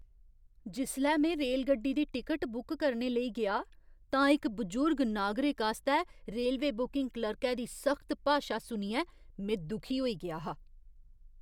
जिसलै में रेलगड्डी दी टिकट बुक करने लेई गेआ तां इक बजुर्ग नागरिक आस्तै रेलवे बुकिंग क्लर्कै दी सख्त भाशा सुनियै में दुखी होई गेआ हा।